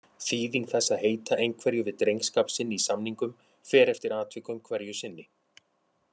Þýðing þess að heita einhverju við drengskap sinn í samningum fer eftir atvikum hverju sinni.